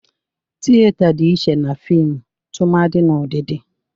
Tiyeta dị iche na fịmụ tụmadị n'ụdịdị.